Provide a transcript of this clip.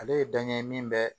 Ale ye dan ye min bɛ